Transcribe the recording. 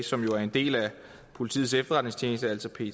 som jo er en del af politiets efterretningstjeneste altså pet